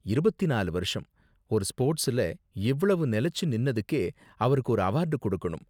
இருபத்தி நாலு வருஷம்.. ஒரு ஸ்போர்ட்ஸ்ல இவ்வளவு நிலைச்சு நின்னதுக்கே அவருக்கு ஒரு அவார்டு கொடுக்கணும்.